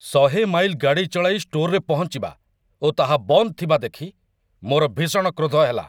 ୧୦୦ mile ଗାଡ଼ି ଚଳାଇ ଷ୍ଟୋରରେ ପହଞ୍ଚିବା ଓ ତାହା ବନ୍ଦ ଥିବା ଦେଖି ମୋର ଭୀଷଣ କ୍ରୋଧ ହେଲା